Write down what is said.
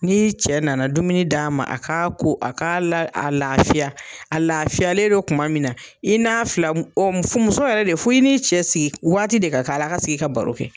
N'i cɛ na na dumuni d'a ma a k'a ko a k'a la a laafiya a laafiyalen do kuma min na i n'a fila muso yɛrɛ de fo i n'i cɛ sigi waati de ka k'a la a ka sigi ka baro kɛ.